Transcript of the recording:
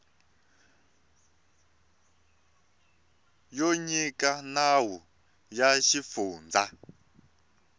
yo nyika nawu ya xifundza